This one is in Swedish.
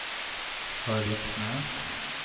Höviksnäs